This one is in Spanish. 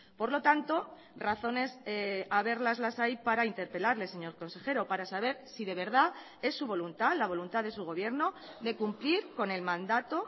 por lo tanto razones haberlas las hay para interpelarle señor consejero para saber si de verdad es su voluntad la voluntad de su gobierno de cumplir con el mandato